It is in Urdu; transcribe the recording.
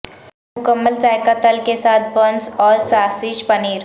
مکمل ذائقہ تل کے ساتھ بنس اور ساسیج پنیر